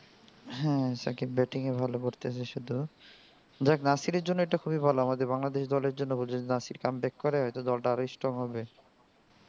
হ্যাঁ শাকিব batting ও ভালো করতেসিল যাহ্ক নাসির এর জন্য এটা খুবই ভালো আমাদের বাংলাদেশি দল এর জন্য নাসির যদি comeback করে তো দল টা আরো strong হবে